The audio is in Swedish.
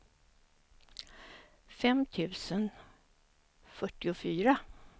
fem tusen fyrtiofyra